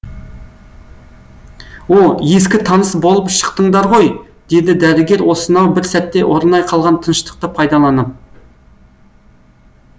о ескі таныс болып шықтыңыздар ғой деді дәрігер осынау бір сәтте орнай қалған тыныштықты пайдаланып